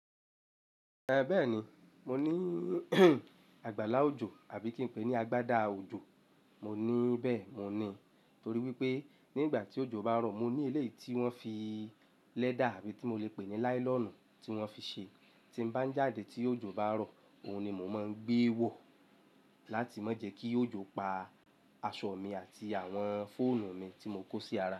Bẹ́ẹ̀ni, mo ní àgbàlá òjò àbí kí n pè ní agbádá òjò. Mo ní bẹ́ẹ̀, mo ní, torí wípé nígbà tí òjò bá ń rọ̀, mo ní éléyì tí wón fi lẹ́dà àbí tí mo le pè ní láílọ̀nù tí wón fi ṣe, tí m bá ń jáde tí òjò bá rọ̀, òun ni mo máa ń gbé wò láti má jẹ kí òjò pa aṣọ mi àti àwọn fóònù mi tí mo kó sí ara.